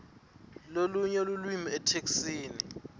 lalolunye lulwimi etheksthini